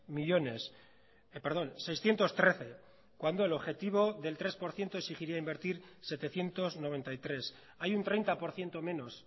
millónes perdón seiscientos trece cuando el objetivo del tres por ciento exigiría invertir setecientos noventa y tres hay un treinta por ciento menos